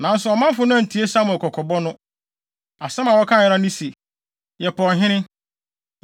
Nanso ɔmanfo no antie Samuel kɔkɔbɔ no. Asɛm a wɔkae ara ne se, “Yɛpɛ ɔhene.